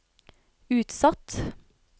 utsatt